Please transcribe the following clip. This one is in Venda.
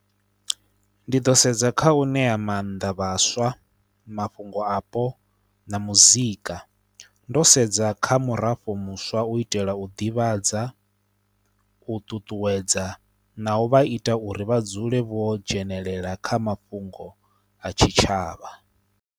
Ndi ḓo sedza kha u ṋea maanḓa vhaswa mafhungo apo na muzika, ndo sedza kha murafho muswa u itela u ḓivhadza, u ṱuṱuwedza na u vha ita uri vha dzule vho dzhenelela kha mafhungo a tshitshavha.